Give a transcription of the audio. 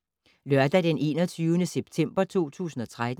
Lørdag d. 21. september 2013